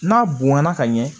N'a bonyana ka ɲɛ